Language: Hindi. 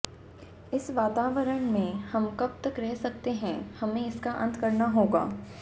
इस वातावरण में हम कब तक रह सकते हैं हमें इसका अंत करना होगा